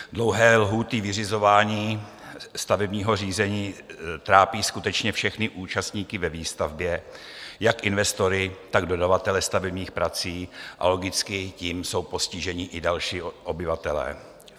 Dlouhé lhůty vyřizování stavebního řízení trápí skutečně všechny účastníky ve výstavbě, jak investory, tak dodavatele stavebních prací, a logicky tím jsou postiženi i další obyvatelé.